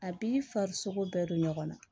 A b'i farisogo bɛɛ don ɲɔgɔn na